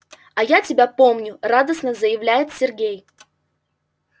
а я тебя помню радостно заявляет сергей